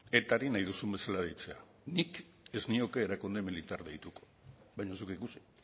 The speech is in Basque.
etari nahi duzun bezala deitzea nik ez nioke erakunde militarra deitu baina zuk ikusi